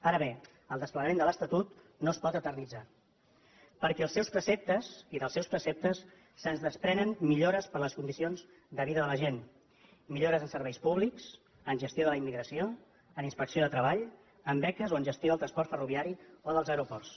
ara bé el desplegament de l’estatut no es pot eternitzar perquè dels seus preceptes se’n desprenen millores per a les condicions de vida de la gent millores en serveis públics en gestió de la immigració en inspecció de treball en beques o en gestió del transport ferroviari o dels aeroports